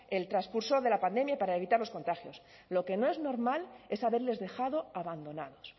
el transcurso de la pandemia y para evitar los contagios lo que no es normal es haberles dejado abandonados